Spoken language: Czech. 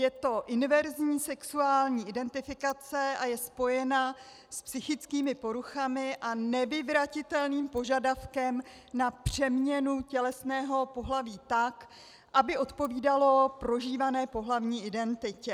Je to inverzní sexuální identifikace a je spojena s psychickými poruchami a nevyvratitelným požadavkem na přeměnu tělesného pohlaví, tak aby odpovídalo prožívané pohlavní identitě.